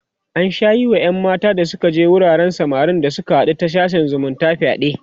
an Sha Yi Wa ƴan mata da Suka je wuraren samarin da Suka haɗu da ta sashen zumunta fyaɗe